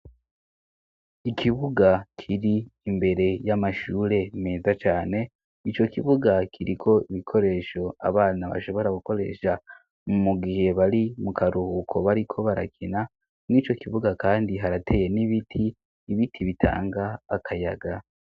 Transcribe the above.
Ikibuga kiri imbere y'amashure meza cane ico kibuga kiriko ibikoresho abana bashobora gukoresha mu mugihe bari mu karuhuko bariko barakina mw'ico kibuga kandi harateye n'ibiti ibiti bitanga akayaga.